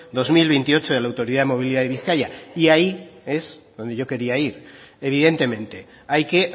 dos mil veintiocho de la autoridad movilidad de bizkaia y ahí es en donde yo quería ir evidentemente hay que